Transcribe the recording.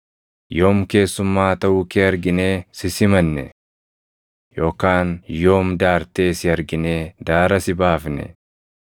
Yoom keessummaa taʼuu kee arginee si simanne? Yookaan yoom daartee si arginee daara si baafne?